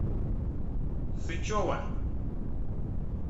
сычева